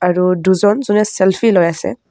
আৰু দুজন যোনে চেল্ফি লৈ আছে।